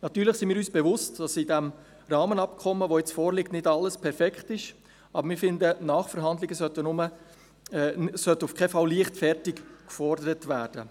Natürlich sind wir uns bewusst, dass im Rahmenabkommen, das jetzt vorliegt, nicht alles perfekt ist, aber wir finden, Nachverhandlungen sollten auf keinen Fall leichtfertig gefordert werden.